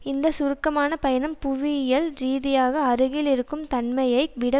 இந்த சுருக்கமான பயணம் புவியியல் ரீதியாக அருகில் இருக்கும் தன்மையை விட